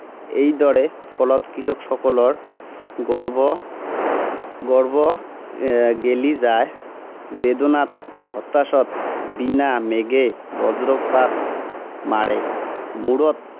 এইদৰে ফলত কৃষকসকলৰ গৰ্ভ গৰ্ভ এৰ গেলি যায়। বেদনাত, হতাশাত। বিনা মেঘে বজ্ৰপাত, মাৰে মূৰত।